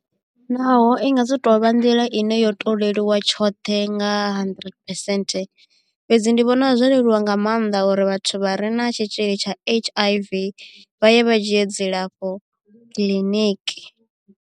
Naho i nga si tovha nḓila ine yo to leluwa tshoṱhe nga hundred percent fhedzi ndi vhona zwo leluwa nga maanḓa uri vhathu vha re na tshitzhili tsha H_I_V vha ye vha dzhie dzilafho kiḽiniki.